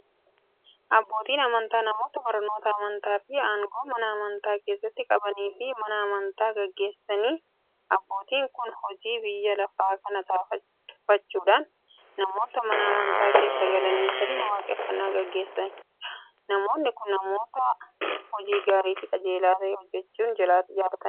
Abbootiin amantaa namoota barnoota amantaafi aangoo Mana amantaa keessatti qabaniifi Mana amantaa gaggeessaniidha. Abbootiin kun hojii biyya lafaa kana tuffachuudhan namoota Mana amantaa keessa galanii sirna waaqeffannaa gaggeessaniidha. Namoonni kun, namoota hojii gaariifi qajeelaa ta'e hojjachuu jaalataniidha.